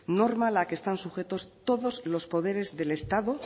norma a la que están sujetos todos los poderes del estado